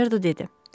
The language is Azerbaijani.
Makmerdo dedi.